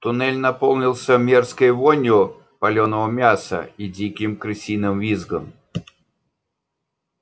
туннель наполнился мерзкой вонью палёного мяса и диким крысиным визгом